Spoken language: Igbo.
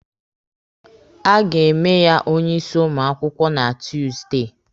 A ga-eme ya onye isi ụmụ akwụkwọ na Tuusdey.